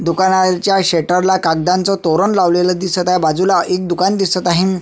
दुकानाच्या शटर ला कागदांच तोरण लावलेल दिसत आहे बाजूला एक दुकान दिसत आहे.